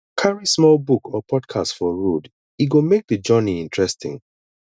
carry small book or podcast for road e go make the journey interesting